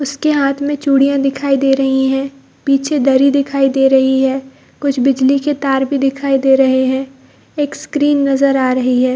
उसके हाथ में चूड़ियाँ दिखाई दे रही है पीछे दरी दिखाई दे रही है कुछ बिजली के तार भी दिखाई दे रहे हैं एक स्क्रीन नजर आ रही है।